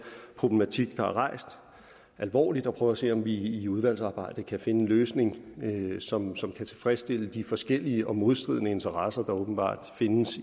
problematik der er rejst alvorligt og prøver at se om vi i udvalgsarbejdet kan finde en løsning som som kan tilfredsstille de forskellige og modstridende interesser der åbenbart findes